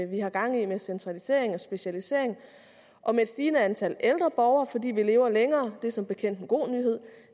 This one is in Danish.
vi har gang i med centralisering og specialisering og med et stigende antal ældre borgere fordi vi lever længere det er som bekendt en god nyhed